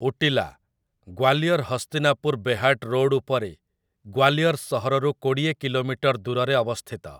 ଉଟିଲା 'Gwalior Hastinapur Behat' road ଉପରେ ଗ୍ୱାଲିଅର୍ ସହରରୁ କୋଡ଼ିଏ କିଲୋମିଟର ଦୂରରେ ଅବସ୍ଥିତ ।